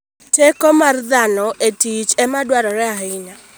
Teko mar dhano e tich ema dwarore ahinya.